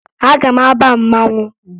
Aga m aba mmanwụ